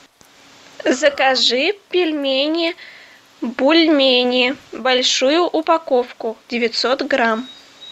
закажи пельмени бульмени большую упаковку девятьсот грамм